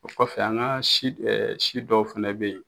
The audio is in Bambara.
O kɔfɛ an ka si si dɔw fɛnɛ bɛ yen